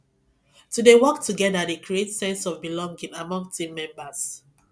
to dey work together dey create sense of belonging among team members